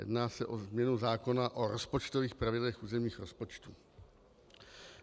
Jedná se o změnu zákona o rozpočtových pravidlech územních rozpočtů.